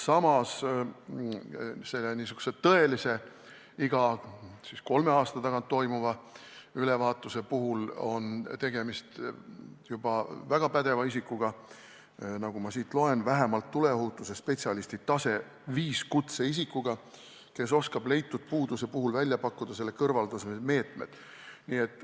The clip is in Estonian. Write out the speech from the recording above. Samas korraliku iga kolme aasta tagant toimuva ülevaatuse puhul on tegemist juba väga pädeva isikuga: nagu ma siit loen, vähemalt tuleohutusspetsialisti 5. taseme kutsetunnistuse omanikuga, kes oskab leitud puuduse puhul välja pakkuda selle kõrvaldamise meetmed.